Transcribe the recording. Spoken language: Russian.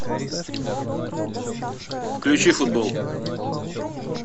включи футбол